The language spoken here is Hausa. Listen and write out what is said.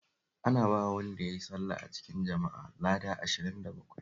Ana bawa wanda ya yi sallah a cikin jama'a lada ashirin da bakwai